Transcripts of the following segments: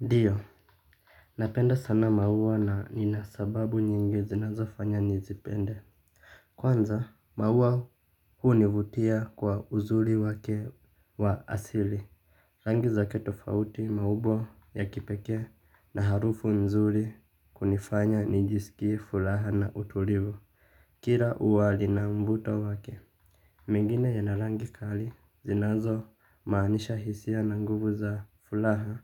Ndio napenda sana maua na nina sababu nyingi zinazofanya nizipende. Kwanza maua hunivutia kwa uzuri wake wa asili. Rangi za kitofauti, maumbo ya kipekee na harufu nzuri kunifanya nijisikie furaha na utulivu. Kila ua lina mvuto wake. Mengine yana rangi kali zinazomaanisha hisia na nguvu za furaha.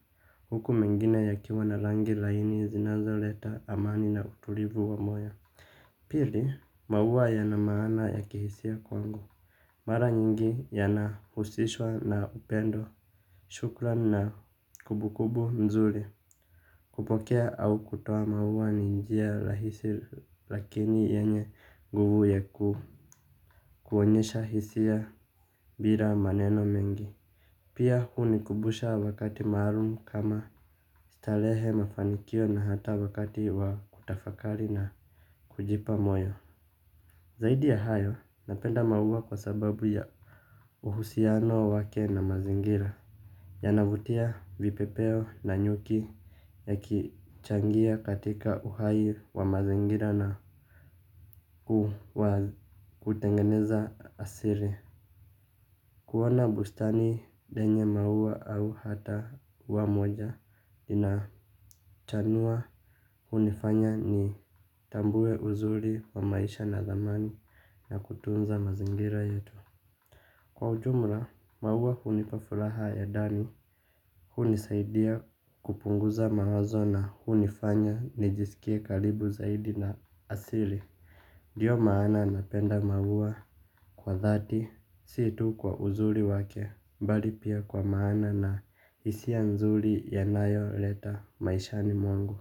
Huku mengine yakiwa na rangi laini zinazoleta amani na utulivu wa moyo. Pili maua yana maana ya kihisia kwangu. Mara nyingi yanahusishwa na upendo. Shukrao na kumbukumbu nzuri. Kupokea au kutoa maua ni njia rahisi lakini yenye nguvu ya ku kuonyesha hisia bila maneno mengi. Pia hunikumbusha wakati maalum kama starehe, mafanikio na hata wakati wa kutafakari na kujipa moyo. Zaidi ya hayo napenda maua kwa sababu ya uhusiano wake na mazingira. Yanavutia vipepeo na nyuki yakichangia katika uhai wa mazingira na kuwa kutengeneza asili. Kuona bustani yenye maua au hata ua moja inachanua hunifanya nitambue uzuri wa maisha na dhamani ya kutunza mazingira yetu. Kwa ujumla, maua hunipa furaha ya ndani, hunisaidia kupunguza mawazo na hunifanya nijisikie karibu zaidi na asili. Ndio maana napenda maua kwa dhati, si tu kwa uzuri wake, bali pia kwa maana na hisia nzuri yanayoleta maishani mwangu.